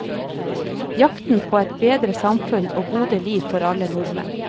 Jakten på et bedre samfunn og gode liv for alle nordmenn.